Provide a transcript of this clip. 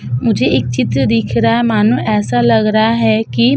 मुझे एक चित्र दीख रहा है मानो ऐसा लग रहा है की --